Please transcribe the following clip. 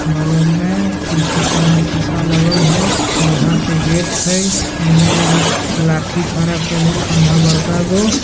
बगल में खिड़की सामने शीशा लगल हेय लोहा के गेट हेय एने एगो लाठी भाड़ा पे अइले खंभा बड़का गो।